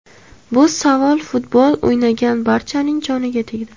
Bu savol futbol o‘ynagan barchaning joniga tegdi.